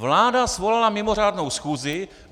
Vláda svolala mimořádnou schůzi.